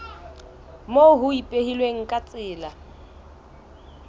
moo ho ipehilweng ka tsela